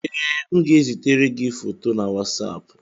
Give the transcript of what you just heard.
Ee, m ga-ezitere gị foto na Wasapụ